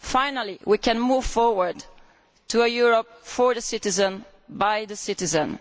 Finally, we can move forward to a Europe for the citizen, by the citizen.